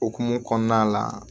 Okumu kɔnɔna la